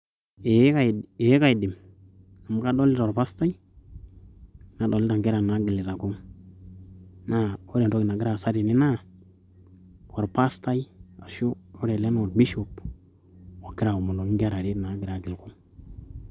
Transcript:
Ee kaidim amu kadolita orpastai, nadolita inkera nagilita kung' naa kore entoki nagira aasa tene naa orpastai ashu ore ele naa orbishop, ogira aomonoki inkera are nagira agil kung'